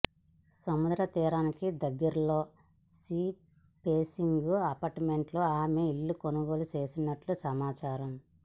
సముద్ర తీరానికి దగ్గరలో సీ ఫేసింగ్ అపార్ట్మెంట్లో ఆమె ఇల్లు కొనుగోలు చేసినట్లు సమాచారం